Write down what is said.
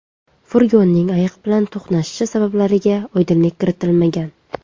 Furgonning ayiq bilan to‘qnashishi sabablariga oydinlik kiritilmagan.